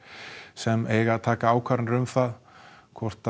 sem eiga að taka ákvarðanir um það hvort